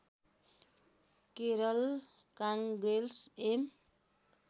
Kerala Congress am